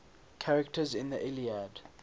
characters in the iliad